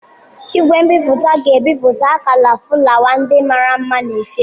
Igwe nbipute ga-ebipụta akala fụlawa ndị mara mma na efere